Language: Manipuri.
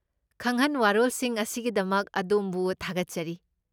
ꯈꯪꯍꯟ ꯋꯥꯔꯣꯜꯁꯤꯡ ꯑꯁꯤꯒꯤꯗꯃꯛ ꯑꯗꯣꯝꯕꯨ ꯊꯥꯒꯠꯆꯔꯤ꯫